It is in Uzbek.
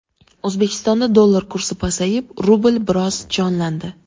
O‘zbekistonda dollar kursi pasayib, rubl biroz jonlandi .